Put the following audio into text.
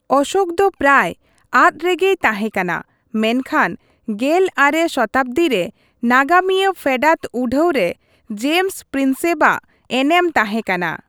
ᱚᱥᱳᱠ ᱫᱚ ᱯᱨᱟᱭ ᱟᱫ ᱨᱮᱜᱮᱭ ᱛᱟᱦᱮᱸᱠᱟᱱᱟ, ᱢᱮᱱᱠᱷᱟᱱ ᱑᱙ ᱥᱚᱛᱟᱵᱽᱫᱤ ᱨᱮ, ᱱᱟᱜᱟᱢᱤᱭᱟᱹ ᱯᱷᱮᱰᱟᱛ ᱩᱰᱷᱟᱹᱣ ᱨᱮ ᱡᱮᱢᱥ ᱯᱨᱤᱱᱥᱮᱯ ᱟᱜ ᱮᱱᱮᱢ ᱛᱟᱦᱮᱸᱠᱟᱱᱟ ᱾